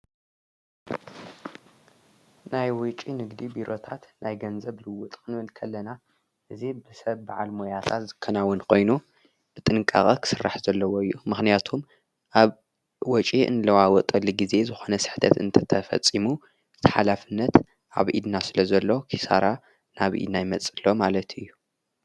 ናይ ውጭ ንግዲ ቢሮታት ናይ ገንዘብ ልውውጥ ክንብል ከለና፣ እዚ ብሰብ ብዓል ሞያታት ዝከናውን ኾይኑ ብጥንቃቐ ኽሥራሕ ዘለዎ እዩ። ምኽንያቶም ኣብ ወጪ እንለዋወጠሊ ጊዜ ዝኾነ ስሕተት እንተተፈጺሙ እቲ ሓላፍነት ኣብ ኢድና ስለ ዘሎ ኪሳራ ናብ ኢድና ይመጽእ ኣሎ ማለት እዩ።